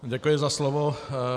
Děkuji za slovo.